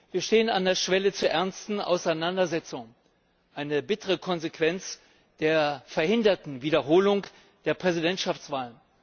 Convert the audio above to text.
Wir stehen an der Schwelle zu ernsten Auseinandersetzungen eine bittere Konsequenz der verhinderten Wiederholung der Präsidentschaftswahl.